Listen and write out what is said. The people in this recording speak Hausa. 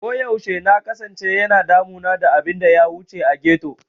Koyaushe na kasance yana damuna da abin da ya wuce a ghetto.